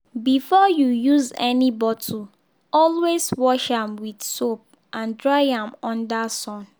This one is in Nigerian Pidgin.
before you use any bottle always wash am with soap and dry am under sun.